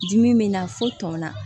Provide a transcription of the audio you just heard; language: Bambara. Dimi bɛ na fo tɔn na